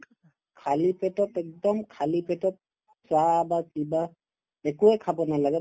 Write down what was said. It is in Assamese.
খালি পেটত একদম খালি পেটতত চাহ বা কিবা একোয়ে খাব নালাগে